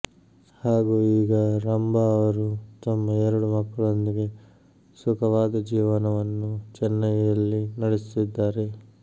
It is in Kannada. ಹಾಗೂ ಈಗ ರಂಭಾ ಅವರು ತಮ್ಮ ಎರಡು ಮಕ್ಕಳೊಂದಿಗೆ ಸುಖವಾದ ಜೀವನವನ್ನು ಚೆನೈಯ ಲ್ಲಿ ನಡೆಸುತ್ತಿದ್ದಾರೆ